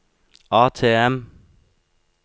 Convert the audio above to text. ATM